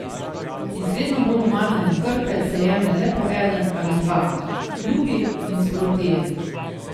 Iz vedno bolj umazane krpe se jemlje le po eden ali dva, lupi in sproti je.